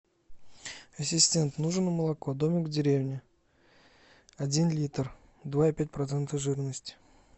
ассистент нужно молоко домик в деревне один литр два и пять процента жирности